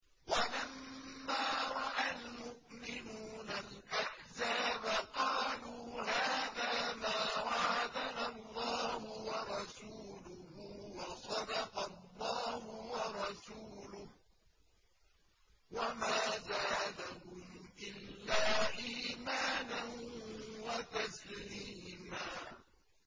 وَلَمَّا رَأَى الْمُؤْمِنُونَ الْأَحْزَابَ قَالُوا هَٰذَا مَا وَعَدَنَا اللَّهُ وَرَسُولُهُ وَصَدَقَ اللَّهُ وَرَسُولُهُ ۚ وَمَا زَادَهُمْ إِلَّا إِيمَانًا وَتَسْلِيمًا